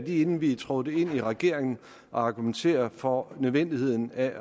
inden vi trådte ind i regeringen at argumentere for nødvendigheden af